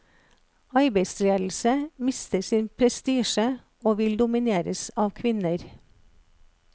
Arbeidsledelse mister sin prestisje og vil domineres av kvinner.